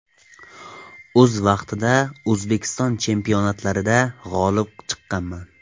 O‘z vaqtida O‘zbekiston chempionatlarida g‘olib chiqqanman.